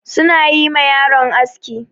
Su na yi ma yaron aski.